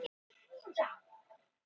Hlíðberg